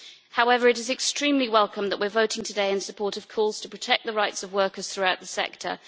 However, it is extremely welcome that we are voting today in support of calls to protect the rights of workers throughout the sector.